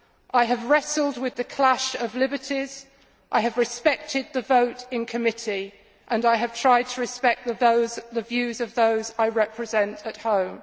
I have wrestled with the clash of liberties, I have respected the vote in committee and I have tried to respect the views of those I represent at home.